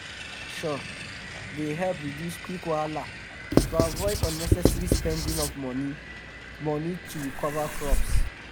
weather prediction dey help reduce quick wahala to avoid unnecessary spending of moni of moni to recover crops